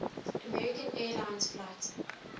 american airlines flight